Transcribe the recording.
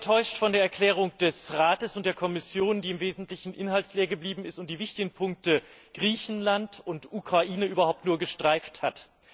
Ich war sehr enttäuscht von der Erklärung des Rates und der Kommission, die im Wesentlichen inhaltsleer geblieben ist und die wichtigen Punkte Griechenland und Ukraine überhaupt nur gestreift hat.